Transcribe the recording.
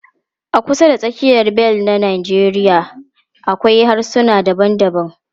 A kusa da tsakiyar bel na Najeriya akwai harsuna daban-daban.